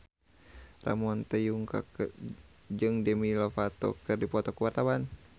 Ramon T. Yungka jeung Demi Lovato keur dipoto ku wartawan